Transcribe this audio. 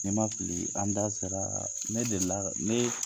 Ni ma fili an da sera ne delila ne